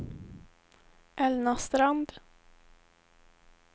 Elna Strand